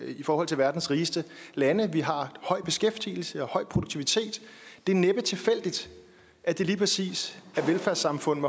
i forhold til verdens rigeste lande vi har en høj beskæftigelse og en høj produktivitet det er næppe tilfældigt at det lige præcis er velfærdssamfund